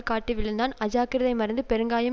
காட்டி விழுந்தான் அஜாக்கிரதை மறைந்து பெருங்காயம்